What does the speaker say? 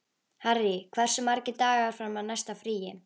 Harry, hversu margir dagar fram að næsta fríi?